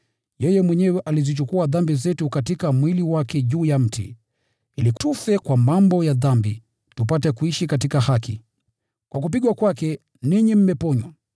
Yeye mwenyewe alizichukua dhambi zetu katika mwili wake juu ya mti, ili tufe kwa mambo ya dhambi, bali tupate kuishi katika haki. Kwa kupigwa kwake, ninyi mmeponywa.